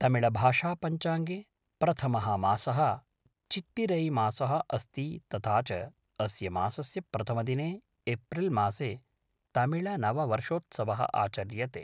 तमिळभाषापञ्चाङ्गे प्रथमः मासः चित्तिरैमासः अस्ति तथा च अस्य मासस्य प्रथमदिने एप्रिल्मासे तमिळनववर्षोत्सवः आचर्यते।